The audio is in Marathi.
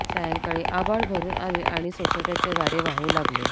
सायंकाळी आभाळ भरुन आले आणि सोसाट्याच्या वारे वाहू लागले